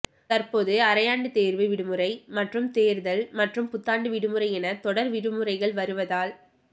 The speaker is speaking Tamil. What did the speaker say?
தற்போது அரையாண்டுத் தோ்வு விடுமுறை மற்றும் தோ்தல் மற்றும் புத்தாண்டு விடுமுறை என தொடா் விடுமுறைகள் வருவதால்